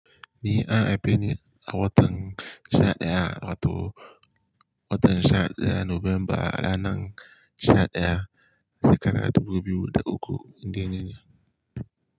Ni an haife ni a watan sha daya, wato watan sha daya November ranan sha daya shekara dubu biyu da uku indai nine.